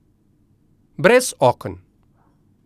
Brez oken.